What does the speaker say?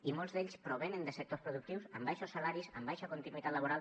i molts d’ells provenen de sectors productius amb baixos salaris amb baixa continuïtat laboral